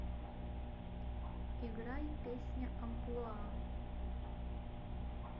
играй песня амплуа